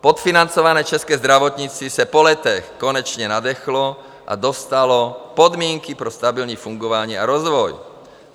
Podfinancované české zdravotnictví se po letech konečně nadechlo a dostalo podmínky pro stabilní fungování a rozvoj.